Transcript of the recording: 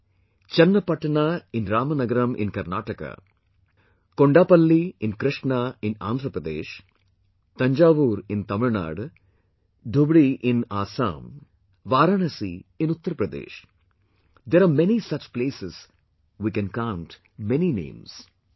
Like, Channapatna in Ramnagaram in Karnataka, Kondaplli in Krishna in Andhra Pradesh, Thanjavur in Tamilnadu, Dhubari in Assam, Varanasi in Uttar Pradesh there are many such places, we can count many names